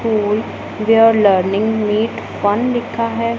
On where learning with one लिखा है।